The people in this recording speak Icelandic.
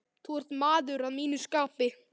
Þú ert maður að mínu skapi.